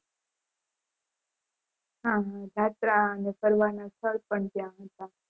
હા હા જાત્રા અને ફરવા ના સ્થળ પણ ત્યાં હતા